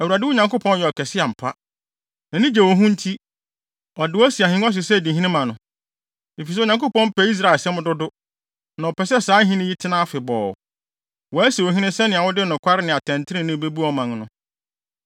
Awurade, wo Nyankopɔn yɛ ɔkɛse ampa. Nʼani gye wo ho nti, ɔde wo asi ahengua so sɛ di hene ma no. Efisɛ Onyankopɔn pɛ Israel asɛm dodo, na ɔpɛ sɛ saa ahenni yi tena afebɔɔ; wasi wo hene sɛnea wode nokware ne atɛntrenee bebu ɔman no.”